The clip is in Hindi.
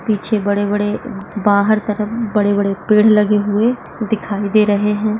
पीछे बड़े बड़े बाहर तरफ बड़े बड़े पेड लगे हुए दिखाई दे रहे है।